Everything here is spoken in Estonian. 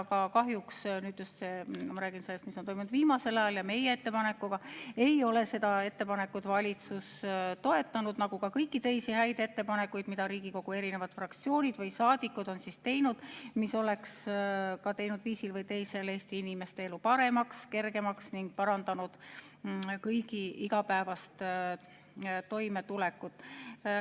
Aga kahjuks – ma räägin nüüd sellest, mis on toimunud viimasel ajal ja meie ettepanekuga – ei ole valitsus seda ettepanekut toetanud, nagu ka kõiki teisi häid ettepanekuid, mida Riigikogu fraktsioonid või saadikud on teinud, mis oleks ka teinud viisil või teisel Eesti inimeste elu paremaks ja kergemaks ning parandanud kõigi igapäevast toimetulekut.